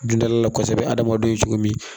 Dundala kosɛbɛ adamadenw ye cogo min